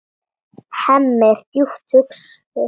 Hemmi er djúpt hugsi.